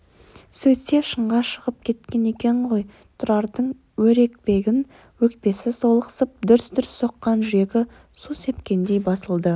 сөйтсе шыңға шығып кеткен екен ғой тұрардың өрекпіген өкпесі солықсып дүрс-дүрс соққан жүрегі су сепкендей басылды